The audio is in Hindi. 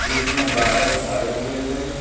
जिसमें बादल छाए हुए हैं।